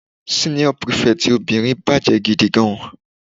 Senior prefect obìnrin bàjẹ́ gidigidi.